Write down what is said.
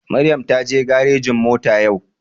Maryam taje garejin mota yau